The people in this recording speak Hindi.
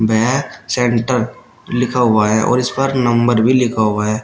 भैया सेंटर लिखा हुआ है और इस पर नंबर भी लिखा हुआ है।